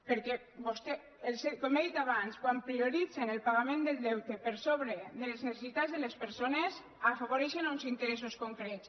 perquè vostès com he dit abans quan prioritzen el pagament del deute per sobre de les necessitats de les persones afavoreixen uns interessos concrets